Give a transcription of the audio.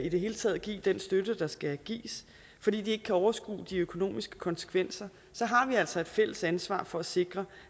i det hele taget at give den støtte der skal gives fordi de ikke kan overskue de økonomiske konsekvenser så har vi altså et fælles ansvar for at sikre